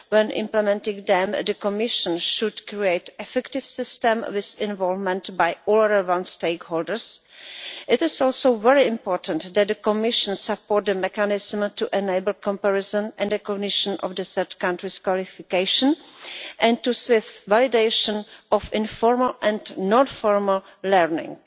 When implementing them, the Commission should create an effective system with involvement by all relevant stakeholders. It is also very important that the Commission support a mechanism to enable comparison and recognition of third countries' qualifications and the swift validation of informal and non formal learning.